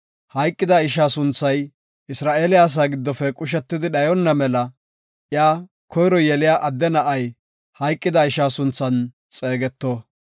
Hayqida ishaa sunthay Isra7eele asaa giddofe qushetidi dhayonna mela iya, koyro yeliya adde na7ay hayqida ishaa sunthan xeegeto.